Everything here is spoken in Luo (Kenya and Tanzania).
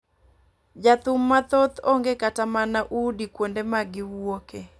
Jothum mathoth onge kata mana udi kuonde magi wuoke .